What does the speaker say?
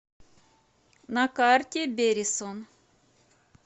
на карте берисон